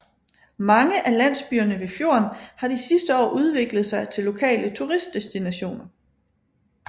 Mange af landsbyerne ved fjorden har de sidste år udviklet sig til lokale turistdestinationer